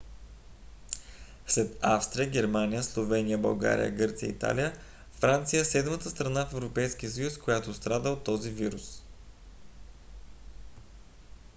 след австрия германия словения българия гърция и италия франция е седмата страна в европейския съюз която страда от този вирус